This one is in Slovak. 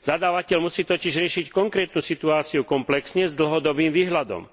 Zadávateľ musí totiž riešiť konkrétnu situáciu komplexne s dlhodobým výhľadom.